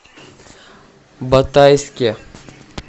батайске